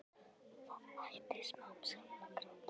Það hætti smám saman að gráta.